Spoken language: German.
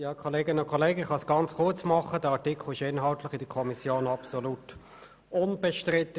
Dieser Artikel war inhaltlich in der Kommission völlig unbestritten.